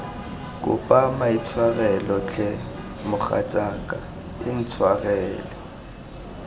kopa maitshwarelo tlhe mogatsaka intshwarele